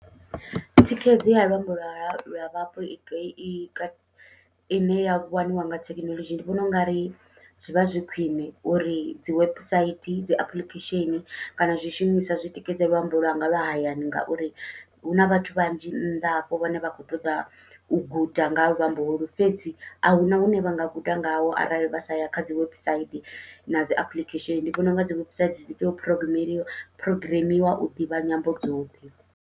Thikhedzo ya luambo lwa ya vhapo i ine ya waniwa nga thekinoḽodzhi ndi vhona ungari zwivha zwi khwiṋe uri dzi website, dzi apuḽikhesheni, kana zwishumiswa zwitikedze luambo lwanga lwa hayani, ngauri huna vhathu vhanzhi nnḓa hafho vhane vha kho ṱoḓa u guda nga ha luambo holu, fhedzi ahuna hune vha nga guda ngawo arali vha sa ya kha dzi website nadzi apuḽikhesheni ndi vhona unga dzi webusaidi phurogimi phurogimiwa u ḓivha nyambo dzoṱhe.